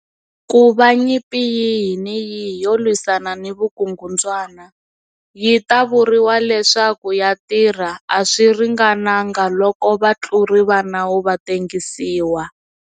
Ku va nyimpi yihi ni yihi yo lwisana ni vukungundzwana yi ta vuriwa leswaku ya tirha, a swi ringananga loko vatluri va nawu va tengisiwa.